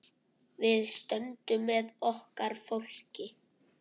Við stöndum með okkar fólki.